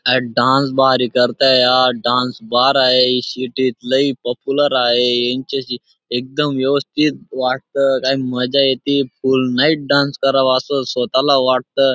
Dance भारी करताय यार डान्स बार आहे सिटी त लई पॉप्युलर आहे यांच्याशी एकदम व्यवस्थित वाटतं काय मजा येते फुल नाईट डान्स करावं असं स्वतःला वाटतं.